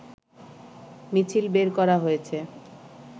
মিছিল বের করা হয়েছে